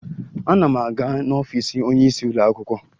Ana m aga n'ọfiisi onyeisi ụlọakwụkwọ